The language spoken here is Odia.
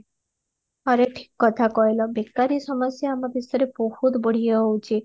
correct କଥା କହିଲା ବେକାରୀ ସମସ୍ୟା ଆମ ଦେଶରେ ବହୁତ